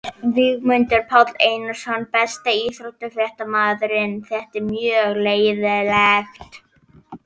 Víglundur Páll Einarsson Besti íþróttafréttamaðurinn?